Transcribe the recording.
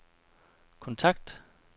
kontakt